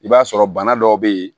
I b'a sɔrɔ bana dɔw be yen